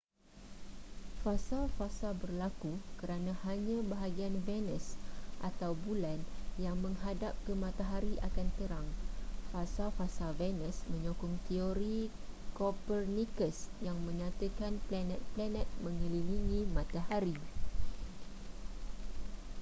fasa-fasa berlaku kerana hanya bahagian venusatau bulan yang menghadap ke matahari akan terang. fasa-fasa venus menyokong terori copernicus yang menyatakan panet-planet mengelilingi matahari